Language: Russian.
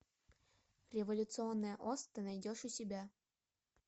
революционная ос ты найдешь у себя